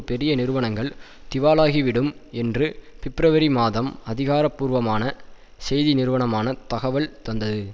பெரிய நிறுவனங்கள் திவாலாகிவிடும் என்று பிப்ரவரி மாதம் அதிகாரபூர்வமான செய்தி நிறுவனமான தகவல் தந்தது